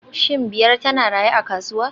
Shin Biyar tana raye a kasuwa